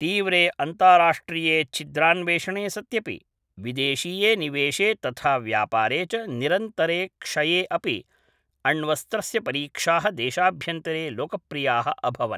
तीव्रे अन्ताराष्ट्रिये छिद्रान्वेषणे सत्यपि, विदेशीये निवेशे तथा व्यापारे च निरन्तरे क्षये अपि, अण्वस्त्रस्य परीक्षाः देशाभ्यन्तरे लोकप्रियाः अभवन्।